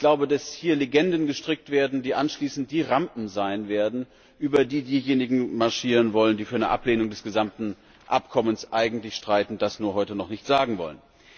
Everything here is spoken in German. Ich glaube, dass hier Legenden gestrickt werden, die anschließend die Rampen sein werden, über die diejenigen marschieren wollen, die eigentlich für eine Ablehnung des gesamten Abkommens streiten und das nur heute noch nicht sagen wollen.